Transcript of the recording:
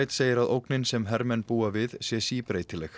segir að ógnin sem hermenn búi við sé síbreytileg